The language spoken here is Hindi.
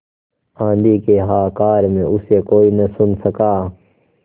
आँधी के हाहाकार में उसे कोई न सुन सका